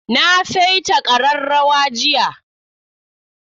Na saita ƙararrawa jiya.